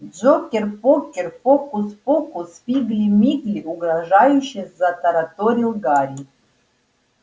джокер покер фокус покус фигли мигли угрожающе затараторил гарри